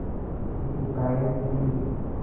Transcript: की हिदायत दी